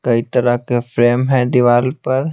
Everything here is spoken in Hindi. कई तरह के फ्रेम हैं दीवाल पर।